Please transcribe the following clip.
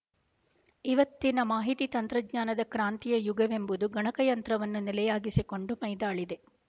ಇವತ್ತಿನ ಮಾಹಿತಿ ತಂತ್ರಜ್ಞಾನದ ಕ್ರಾಂತಿಯ ಯುಗವೆಂಬುದು ಗಣಕಯಂತ್ರವನ್ನು ನೆಲೆಯಾಗಿಸಿಕೊಂಡು ಮೈದಾಳಿದೆ